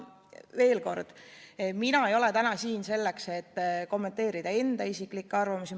Veel kord: mina ei ole täna siin selleks, et kommenteerida enda isiklikke arvamusi.